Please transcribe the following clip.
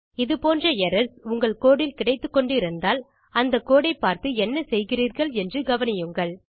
இது போன்ற எரர்ஸ் உங்கள் கோடு இல் கிடைத்துக்கொண்டு இருந்தால் அந்த கோடை பார்த்து என்ன செய்கிறீர்கள் என்று கவனியுங்கள்